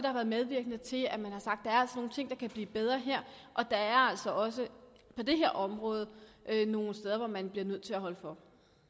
har været medvirkende til at man har sagt er nogle ting der kan blive bedre her og der er også også på dette område nogle steder hvor man bliver nødt til at holde for